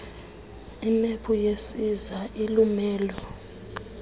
imephu yesiza ilumelo